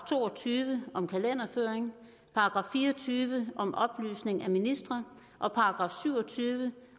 to og tyve om kalenderføring § fire og tyve om oplysning af ministre og § syv og tyve